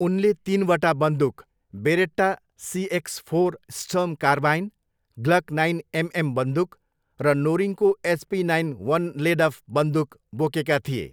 उनले तिनवटा बन्दुक, Beretta CX four Storm carbine, Glock nine MM बन्दुक र Norinco HP nine one lead off बन्दुक बोकेका थिए।